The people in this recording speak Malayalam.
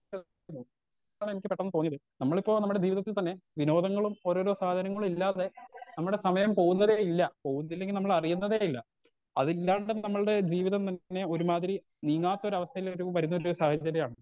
എന്നാണ് എനിക്ക് പെട്ടന്ന് തോന്നിയത് നമ്മളിപ്പോ നമ്മടെ ജീവിതത്തിൽ തന്നെ വിനോദങ്ങളും ഓരോരോ സാധനങ്ങളു ഇല്ലാതെ നമ്മടെ സമയം പോവുന്നതേ ഇല്ല പോവിത്തിലെങ്കി നമ്മൾ അറിയുന്നതേ ഇല്ല അതില്ലാണ്ടെ നമ്മൾടെ ജീവിതം ഇങ്ങനെ ഒരുമാതിരി നീങ്ങാത്തൊരു അവസ്ഥയിൽ വരൂ വരുന്നൊരു സാഹചര്യാണ്